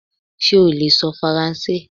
Ṣé o lè sọ Faransé?